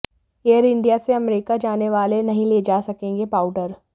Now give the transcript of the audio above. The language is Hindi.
एअर इंडिया से अमेरिका जाने वाले नहीं ले जा सकेंगे पाउडर